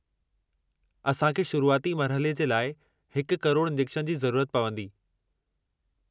असां खे शुरूआती मरहले जे लाइ 1 करोड़ इंजेक्शन जी ज़रूरत पवंदी।